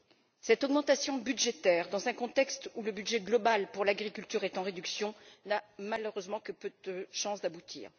Or, cette augmentation budgétaire, dans un contexte où le budget global pour l'agriculture est en réduction, n'a malheureusement que peu de chances d'aboutir.